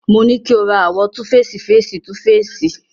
Mo ní kí o ra àwo túfeèsì féèsì 2 féèsì.